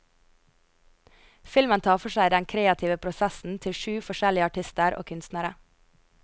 Filmen tar for seg den kreative prosessen til syv forskjellig artister og kunstnere.